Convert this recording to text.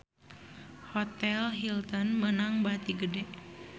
Hotel Hilton meunang bati gede